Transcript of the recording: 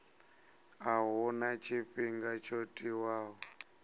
a huna tshifhinga tsho tiwaho